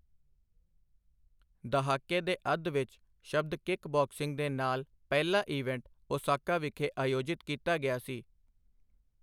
ਦਹਾਕੇ ਦੇ ਅੱਧ ਵਿੱਚ, ਸ਼ਬਦ ਕਿੱਕ ਬਾਕਸਿੰਗ ਦੇ ਨਾਲ ਪਹਿਲਾ ਈਵੈਂਟ ਓਸਾਕਾ ਵਿਖੇ ਆਯੋਜਿਤ ਕੀਤਾ ਗਿਆ ਸੀ।